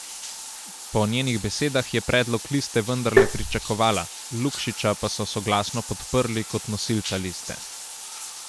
Po njenih besedah je predlog liste vendarle pričakovala, Lukšiča pa so soglasno podprli kot nosilca liste.